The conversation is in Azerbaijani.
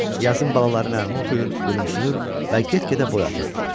Yazın balaları nəğmə oxuyur, gülümsünür və get-gedə boy atırdılar.